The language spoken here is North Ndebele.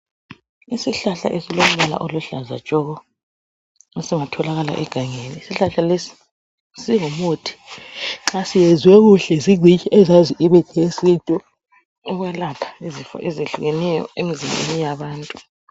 Isihlahla esilombala oluhlaza tshoko esingatholakala egangeni isihlahla lesi singumuthi nxa siyenzwe kuhle zincitshi ezazi imithi yesintu ukwelapha izifo ezihlukeneyo emzimbeni yabantu.